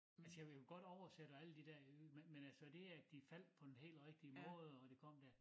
Altså jeg vil jo godt oversæt og alle de der jyde men men altså det at de faldt på den helt rigtige måde og det kom der